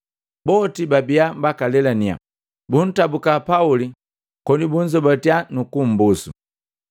Boti babia bakalelaninya, buntabuka Pauli koni bunzobatia nukumbusu.